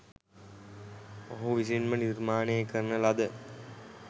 ඔහු විසින්ම නිර්මාණය කරන ලද